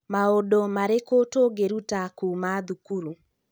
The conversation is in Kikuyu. Maũndũ marĩkũ tũngĩruta kuuma thukuru.